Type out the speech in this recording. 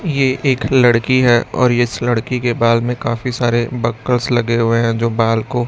ये एक लड़की हैं और इस लड़की के बाल में काफी सारे बकल्स लगे हुए हैं जो बाल को--